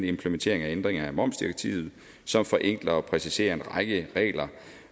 implementering af ændringen af momsdirektivet som forenkler og præciserer en række regler